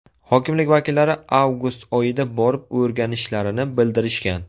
Hokimlik vakillari avgust oyida borib o‘rganishlarini bildirishgan.